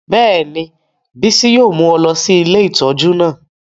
Bẹ́ẹ̀ni, Bisi yóò mu ọ lọ si ìlé itọju naa